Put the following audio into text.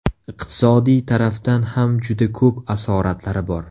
Iqtisodiy tarafdan ham juda ko‘p asoratlari bor.